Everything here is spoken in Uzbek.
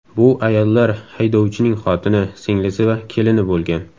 Bu ayollar haydovchining xotini, singlisi va kelini bo‘lgan.